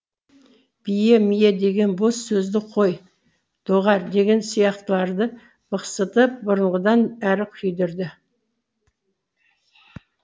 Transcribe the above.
бие мие деген бос сөзді қой доғар деген сияқтыларды бықсытып бұрынғыдан әрі күйдірді